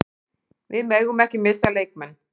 Við megum ekki missa leikmenn.